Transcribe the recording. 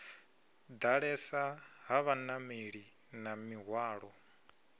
ḓalesa ha vhanameli na mihwalo